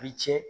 I ce